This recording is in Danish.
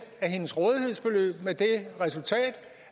af hendes rådighedsbeløb med det resultat